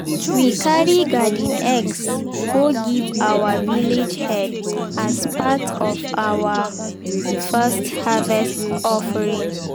we carry garden eggs go give our village head as part of our first harvest offering.